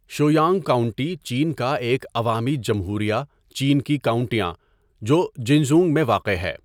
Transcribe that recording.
Shuyang county چین کا ایک عوامی جمہوریہ چین کی کاؤنٹیاں جو جنژونگ میں واقع ہے.